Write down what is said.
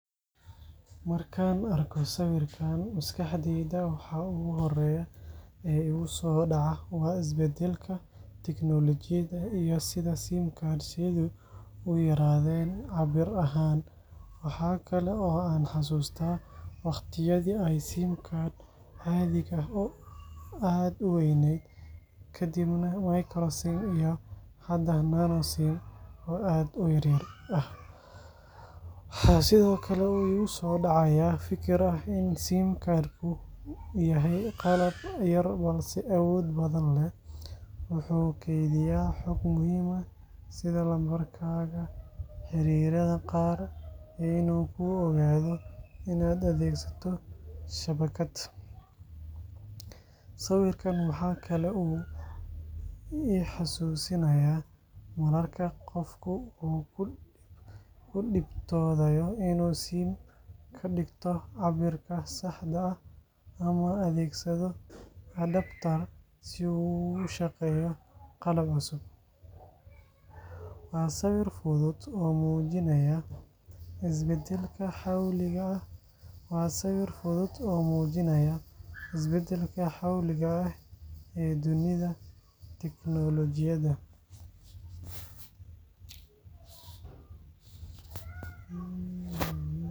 Markaan arko sawirkan, maskaxdayda waxa ugu horreeya ee igu soo dhaca waa isbeddelka tiknoolajiyadda iyo sida SIM cards-yadu u yaraadeen cabbir ahaan. Waxa kale oo aan xasuustaa waqtiyadii ay SIM-ka caadiga ah aad u weynayd, kadibna micro SIM iyo hadda nano SIM oo aad u yaryar ah. Waxaa sidoo kale igu soo dhacaya fikir ah in SIM card-ku yahay qalab yar balse awood badan leh—wuxuu kaydiyaa xog muhiim ah sida lambarkaaga, xiriirada qaar, iyo inuu kuu oggolaado inaad adeegsato shabakad. Sawirkan waxa kale oo uu i xasuusinayaa mararka qofku uu ku dhibtoodayo inuu SIM ka dhigto cabbirka saxda ah ama adeegsado adapter si uu ugu shaqeeyo qalab cusub. Waa sawir fudud oo muujinaya isbeddelka xawliga ah ee dunida tiknoolajiyadda.